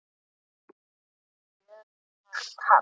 Jöfnun taps.